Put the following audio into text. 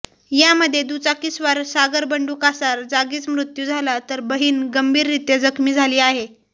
यामध्ये दुचाकीस्वार सागर बंडू कासार जागीच मृत्यू झाला तर बहीण गंभीररीत्या जखमी झाली आहे